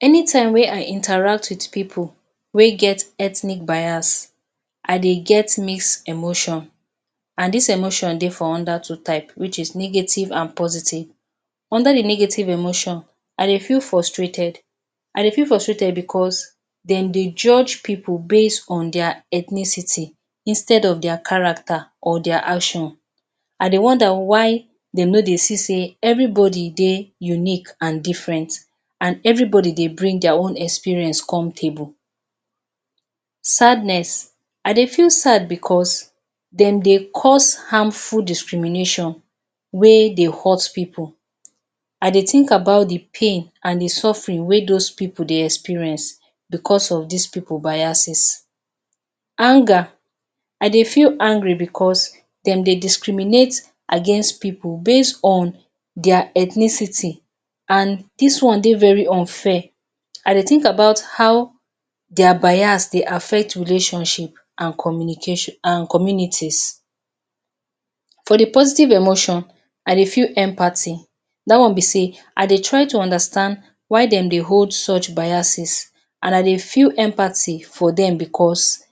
Anytime wey I interact with pipu wey get ethnic bias. I dey get mix emotion and dis emotion dey for under two type, which is negative and positive. Under the negative emotion, I dey feel frustrated. I dey feel frustrated because de dey judge pipu based on their ethnicity instead of their character or their action. I dey wonder why they no dey see sey everybody dey unique and different and everybody dey bring their own experience come table. Sadness, I dey feel sad because de dey cause harmful discrimination wey dey hurt pipu. I dey think about the pain and the suffering wey dos pipu dey experience because of des pipu biases. Anger, I dey feel angry because de dey discriminate against people based on their ethnicity and dis one dey very unfair. I dey think about how their biased dey affect relationship and communication and communities. For the positive emotion, I dey feel empathy. Dat one be sey, I dey try to understand why dem dey hold such biases and I dey feel empathy for dem because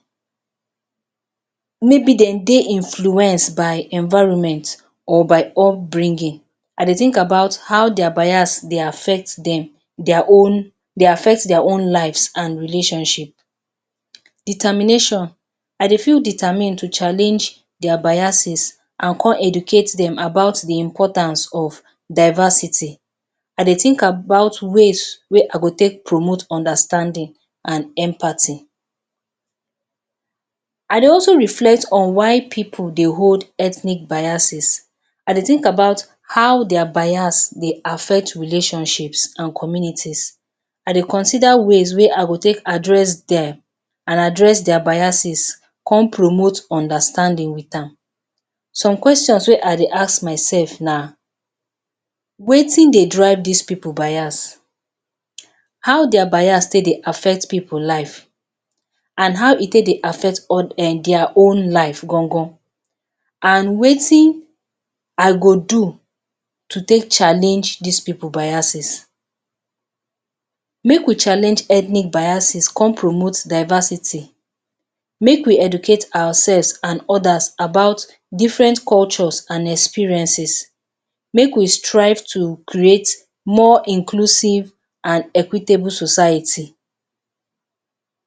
maybe dem dey influenced by environment or by upbringing. I dey think about how their biased dey affect dem, their own dey affect their own lives and relationship. Determination, I dey feel determined to challenge their biases and con educate dem about the importance of diversity. I dey think about ways wey I go take promote understanding and empathy. I dey also dey reflect on why pipu dey hold ethnic biases. I dey think about how their biased dey affect active relationships and communities. I dey consider ways wey I go take address dem and address their biases con promote understanding with am. Some questions wey I dey ask myself na, wetin dey drive des pipu bias? How their biase take dey affect pipu lives? And how e take dey affect um their own live gan gan? And wetin I go do to take challenge des pipu biases? Make we challenge ethnic biases con promote diversity. Make we educate ourselves and others about different cultures and experiences. Make we strive to create more inclusive and equitable society.